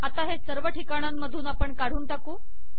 आता हे सर्व ठिकाणांमधून काढून टाकू